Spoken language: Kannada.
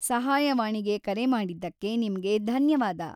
ಸಹಾಯವಾಣಿಗೆ ಕರೆ ಮಾಡಿದ್ದಕ್ಕೆ ನಿಮ್ಗೆ ಧನ್ಯವಾದ.